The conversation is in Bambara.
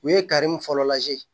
U ye fɔlɔ laje